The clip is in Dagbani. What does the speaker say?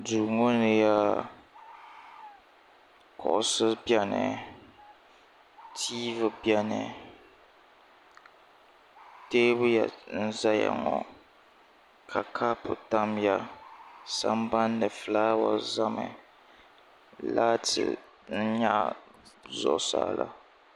duu ŋɔ ni yaa kuɣisi beni tiivi beni teebuya n-zaya ŋɔ ka kaapu tam ya sambani fulaawa zami laati n-nyaɣi zuɣusaa la.